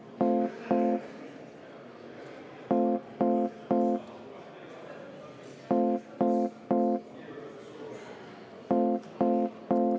Ega ei pea kellegi jutupunkte üle võtma.